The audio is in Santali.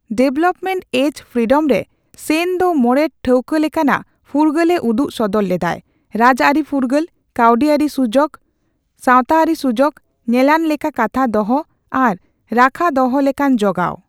ᱰᱮᱵᱷᱮᱞᱚᱯᱢᱮᱱᱴ ᱮᱡ ᱯᱷᱨᱤᱰᱚᱢ' ᱨᱮ, ᱥᱮᱱ ᱫᱚ ᱢᱚᱬᱮ ᱴᱷᱟᱹᱣᱠᱟᱹ ᱞᱮᱠᱟᱱᱟᱜ ᱯᱷᱩᱨᱜᱟᱹᱞᱮ ᱩᱫᱩᱜ ᱥᱚᱫᱚᱨ ᱞᱮᱫᱟᱭᱺ ᱨᱟᱡᱽᱟᱹᱨᱤ ᱯᱷᱩᱨᱜᱟᱹᱞ, ᱠᱟᱹᱣᱰᱤᱟᱹᱨᱤ ᱥᱩᱡᱚᱠ, ᱥᱟᱣᱛᱟ ᱟᱹᱨᱤ ᱥᱩᱡᱚᱠ, ᱧᱮᱞᱟᱱ ᱞᱮᱠᱟ ᱠᱟᱛᱷᱟ ᱫᱚᱦᱚ ᱟᱨ ᱨᱟᱠᱷᱟ ᱫᱚᱦᱚ ᱞᱮᱠᱟᱱ ᱡᱚᱜᱟᱣ ᱾